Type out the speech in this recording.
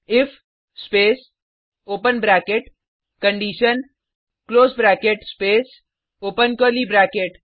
if space open bracket condition close bracket space open curly bracket